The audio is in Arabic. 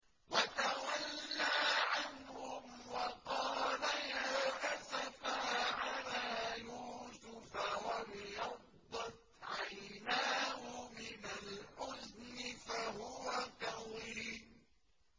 وَتَوَلَّىٰ عَنْهُمْ وَقَالَ يَا أَسَفَىٰ عَلَىٰ يُوسُفَ وَابْيَضَّتْ عَيْنَاهُ مِنَ الْحُزْنِ فَهُوَ كَظِيمٌ